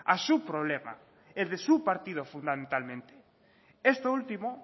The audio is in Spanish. a su problema el de su partido fundamentalmente esto último